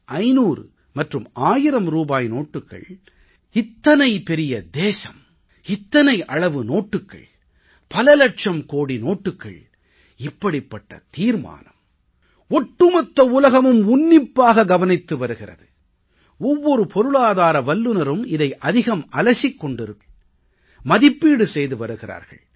500 மற்றும் 1000 ரூபாய் நோட்டுக்கள் இத்தனை பெரிய தேசம் இத்தனை அளவு நோட்டுக்கள் பல இலட்சம் கோடி நோட்டுக்கள் இப்படிப்பட்ட தீர்மானம் ஒட்டுமொத்த உலகமும் உன்னிப்பாக கவனித்து வருகிறது ஒவ்வொரு பொருளாதார வல்லுனரும் இதை அதிகம் அலசிக் கொண்டிருக்கிறார்கள் மதிப்பீடு செய்து வருகிறார்கள்